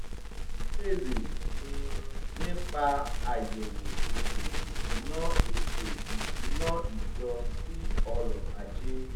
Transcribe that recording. wọ́n bèèrè um nípa àyẹ̀wò ètò ìsúná ètò ìsúná ìjọ sí ọrọ̀ ajé